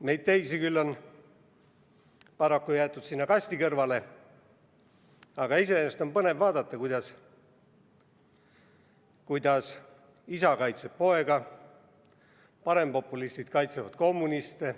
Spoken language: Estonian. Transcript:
Meid teisi on küll paraku jäetud sinna kasti kõrvale, aga iseenesest on põnev vaadata, kuidas isa kaitseb poega ja parempopulistid kaitsevad kommuniste.